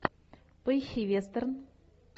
поищи вестерн